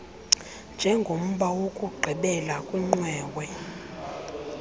njengomba wokugqibela kwiqwewe